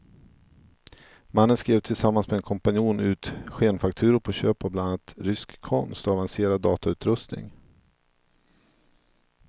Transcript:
Mannen skrev tillsammans med en kompanjon ut skenfakturor på köp av bland annat rysk konst och avancerad datautrustning.